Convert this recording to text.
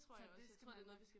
Så det skal man nok